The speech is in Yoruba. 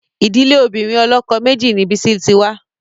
Ìdílé obìnrin ọlọ́kọ méjì ni Bisi ti wá